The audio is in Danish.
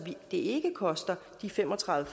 ikke koster de fem og tredive